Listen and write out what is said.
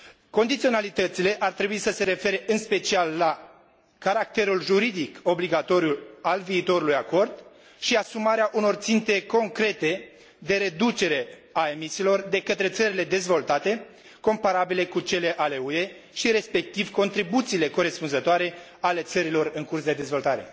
Condiționalitățile ar trebui să se refere, în special, la caracterul juridic obligatoriu al viitorului acord și asumarea unor ținte concrete de reducere a emisiilor de către țările dezvoltate comparabile cu cele ale UE și, respectiv, contribuțiile corespunzătoare ale țărilor în curs de dezvoltare.